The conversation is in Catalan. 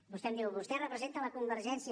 vostè em diu vostè representa la convergència